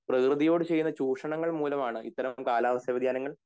പ്രകൃതിയോട് ചെയ്യുന്ന ചുക്ഷ്നങ്ങൾ മൂലമാണ് ഇത്തരം കാലാവസ്ഥ വ്യതിയാനങ്ങൾ